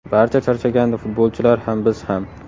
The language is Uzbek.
Barcha charchagandi futbolchilar ham, biz ham.